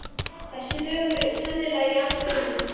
Þessi lög eru sennilega jarðvegur að uppruna.